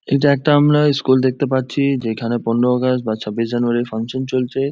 এটা একটা আমরা স্কুল দেখতে পাচ্ছি। যেখানে পনেরো আগস্ট বা চব্বিশ জানুয়ারীর ফাঙ্কশন চলছে।